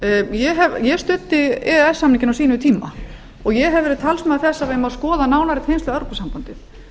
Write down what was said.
ég studdi e e s samninginn á sínum tíma og ég hef verið talsmaður þess að við eigum skoða nánari tengsl við evrópusambandið